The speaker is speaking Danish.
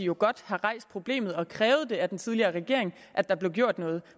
jo godt have rejst problemet og krævet af den tidligere regering at der blev gjort noget